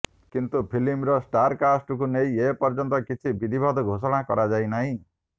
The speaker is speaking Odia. କିନ୍ତୁ ଫିଲ୍ମର ଷ୍ଟାରକାଷ୍ଟକୁ ନେଇ ଏ ପର୍ଯ୍ୟନ୍ତ କିଛି ବିଦ୍ଧିବଦ୍ଧ ଘୋଷଣା କରାଯାଇନାହିଁ